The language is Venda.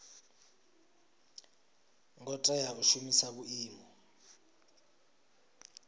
ngo tea u shumisa vhuimo